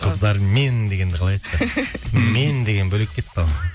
қыздармен дегенді қалай айтты мен деген бөлек кетті ғой